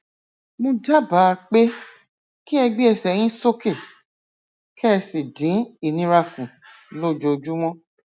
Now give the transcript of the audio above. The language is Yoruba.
mo dábàá pé kí ẹ gbé ẹsẹ yín sókè kẹ ẹ sì dín ìnira kù lójoojúmọ